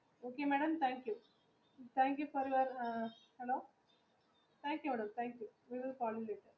Hello madam. Thank you madam. Hello thank you Madam